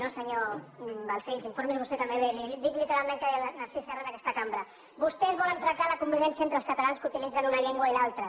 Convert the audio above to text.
no senyor balcells informi’s vostè també bé li dic literalment què deia narcís serra en aquesta cambra vostès volen trencar la convivència entre els catalans que utilitzen una llengua i l’altra